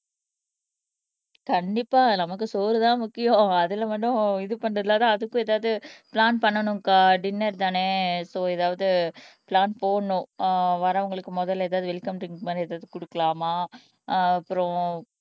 கண்டிப்பா நமக்கு சோறுதான் முக்கியம் அதுல மட்டும் இது பண்றது இல்லாத அதுக்கும் ஏதாவது பிளான் பண்ணணும்க்கா டின்னர் தானே சோ எதாவது பிளான் போடணும் ஆஹ் வரவங்களுக்கு முதல்ல ஏதாவது வெல்கம் ட்ரிங் மாறி ஏதாவது கொடுக்கலாமா அஹ் அப்பறம்